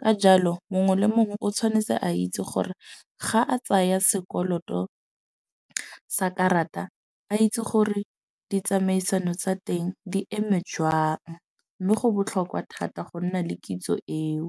Ka jalo mongwe le mongwe o tshwanetse a itse gore ga a tsaya sekoloto sa karata, a itse gore ditsamaisano tsa teng di eme jwang. Mme go botlhokwa thata go nna le kitso eo.